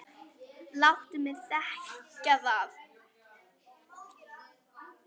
Láttu mig þekkja það!